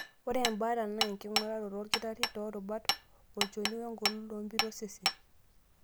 Ore embaata na enking'uraroto olkitari toorubat, olchoni, wengolon oompit osesen.